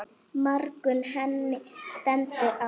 Margur henni stendur á.